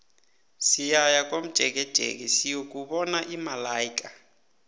siyaya komjekejeke siyokubona imalaika